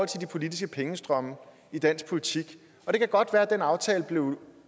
til de politiske pengestrømme i dansk politik det kan godt være at den aftale blev